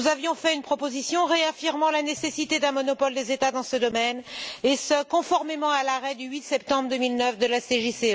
Nous avions fait une proposition réaffirmant la nécessité d'un monopole des États dans ce domaine, et ce conformément à l'arrêt du 8 septembre 2009 de la CJCE.